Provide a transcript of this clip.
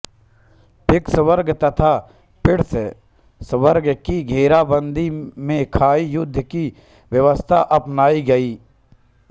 Vicksburg तथा Petersburg की घेराबंदियों में खाईं युद्ध की व्यवस्था अपनाई गई